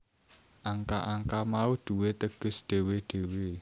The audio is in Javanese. Angka angka mau duwé teges dhewe dhewe